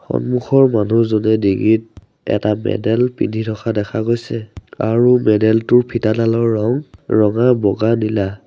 সন্মুখৰ মানুহজনে ডিঙিত এটা মেডেল পিন্ধি থকা দেখা গৈছে আৰু মেডেল টোৰ ফিটাডালৰ ৰং ৰঙা বগা নীলা।